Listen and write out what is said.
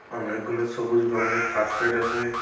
অনেকগুলো সবুজ রঙের কার্পেট আছে।